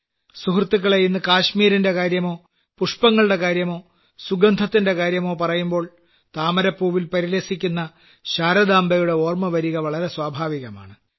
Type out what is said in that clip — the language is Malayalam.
സുഹൃത്തുക്കളേ ഇന്ന് കാശ്മീരിന്റെ കാര്യമോ പുഷ്പങ്ങളുടെ കാര്യമോ സുഗന്ധത്തിന്റെ കാര്യമോ പറയുമ്പോൾ താമരപ്പൂവിൽ പരിലസിക്കുന്ന ശാരദാംബയുടെ ഓർമ്മ വരിക വളരെ സ്വാഭാവികമാണ്